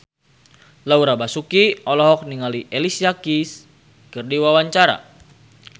Laura Basuki olohok ningali Alicia Keys keur diwawancara